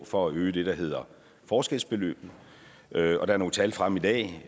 for at øge det der hedder forskelsbeløbet der er nogle tal fremme i dag